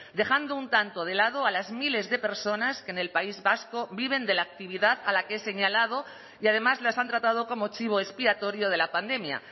dejando un tanto de lado a las miles de personas que en el país vasco viven de la actividad a la que he señalado y además las han tratado como chivo expiatorio de la pandemia